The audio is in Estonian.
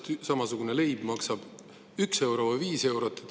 Täpselt samasugused leivad, üks maksab 1 euro ja teine 5 eurot.